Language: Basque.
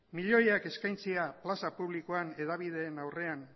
milioiak eskaintzea plaza publikoan hedabideen aurrean